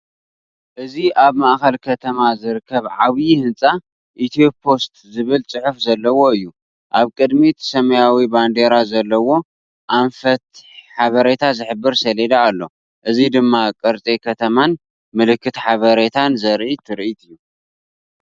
እዚ ኣብ ማእከል ከተማ ዝርከብ ዓቢ ህንጻ፡ 'ኢትዮፖስት' ዝብል ጽሑፍ ዘለዎ እዩ። ኣብ ቅድሚት ሰማያዊ ባንዴራ ዘለዎ፡ ኣንፈት ሓበሬታ ዝሕብር ሰሌዳ ኣሎ። እዚ ድማ ቅርጺ ከተማን ምልክት ሓበሬታን ዘርኢ ትርኢት እዩ።"